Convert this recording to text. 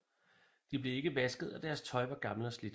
De blev ikke vasket og deres tøj var gammelt og slidt